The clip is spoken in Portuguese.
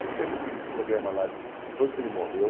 Aí teve um problema lá de, depois que ele morreu,